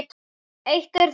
Eitt er þó víst.